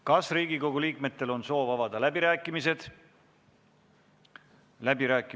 Kas Riigikogu liikmetel on soovi pidada läbirääkimisi?